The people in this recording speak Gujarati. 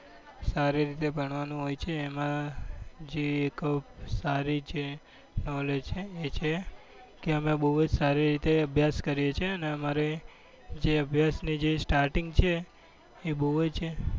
સારી રીતે ભણવાનું હોય છે એમાં જે એક સારી જે knowledge છે એ કે અમે બહુ જ સારી રીતે અભ્યાસ કરીએ છીએ અને અમારે જે અભ્યાસની starting છે એ બહુ જ